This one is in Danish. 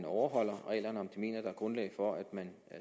overholder reglerne og om de mener der er grundlag for at man